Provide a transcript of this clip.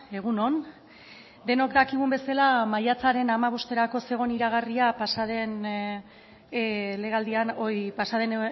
egun on denok dakigun bezala maiatzaren hamabosterako zegoen iragarria pasaden